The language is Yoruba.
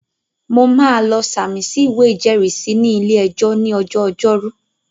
Mo máa lọ sàmì sí ìwé ìjẹ́rìísí ní ilé-ẹjọ́ ní ọjọ́ ọjọ́rú